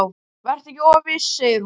Vertu ekki of viss, segir hún.